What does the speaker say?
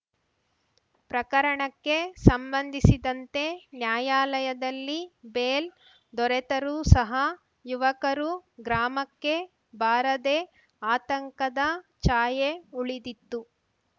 ಪ್ರಕರಣಕ್ಕೆ ಸಂಬಂಧಿಸಿದಂತೆ ನ್ಯಾಯಾಲಯದಲ್ಲಿ ಬೇಲ್‌ ದೊರೆತರೂ ಸಹ ಯುವಕರು ಗ್ರಾಮಕ್ಕೆ ಬಾರದೇ ಆತಂಕದ ಛಾಯೆ ಉಳಿದಿತ್ತು